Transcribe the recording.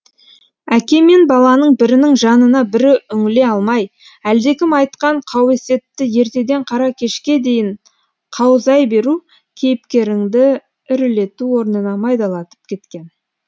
әке мен баланың бірінің жанына бірі үңіле алмай әлдекім айтқан қауесетті ертеден қара кешке дейін қаузай беру кейіпкеріңді ірілету орнына майдалатып кеткен